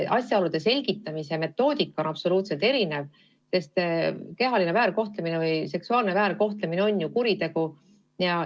Asjaolude selgitamise metoodika on absoluutselt erinev, sest kehaline väärkohtlemine, sh seksuaalne väärkohtlemine, on ju kuritegu.